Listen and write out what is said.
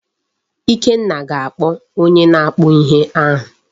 Ikenna ga-akpọ onye na-akpụ ihe ahụ.